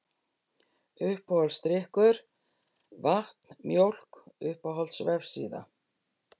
Uppáhaldsdrykkur: Vatn, Mjólk Uppáhalds vefsíða?